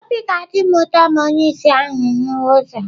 Obi ga-adị m ụtọ ma onye ìsì ahụ hụwa ọzọ.